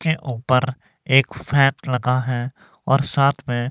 के ऊपर एक लगा है और साथ में--